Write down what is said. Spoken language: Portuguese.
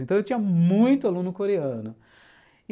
Então eu tinha muito aluno coreano.